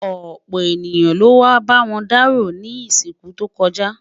ọpọ ènìyàn ló wà b'awọn daro ní isiku tó kojá